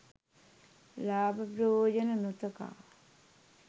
ලාභ ප්‍රයෝජන නො තකා